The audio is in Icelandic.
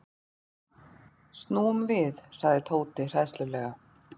Snúum við sagði Tóti hræðslulega.